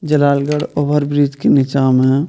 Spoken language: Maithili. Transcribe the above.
जलालगड़ ओवर ब्रिज के नीचा म --